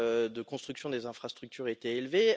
de construction des infrastructures était élevé.